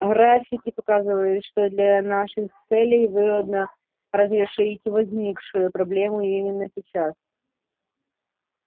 графики показывают что для наших целей выгодно разрешить возникшую проблему именно сейчас